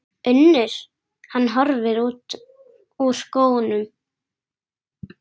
UNNUR: Hann hvolfir úr skónum.